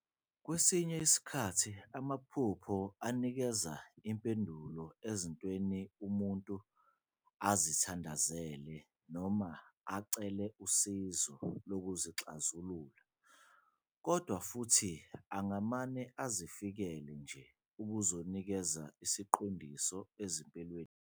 Kwesinye isikhathi amaphupho anikeza impendulo ezintweni umuntu azithandazele noma acele usizo lokuzixazulula, kodwa futhi angamane azifikele nje ukuzonikeza isiqondiso ezimpilweni zabantu.